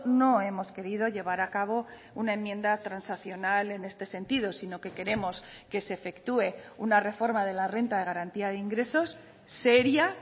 no hemos querido llevar a cabo una enmienda transaccional en este sentido sino que queremos que se efectúe una reforma de la renta de garantía de ingresos seria